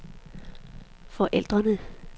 forældrene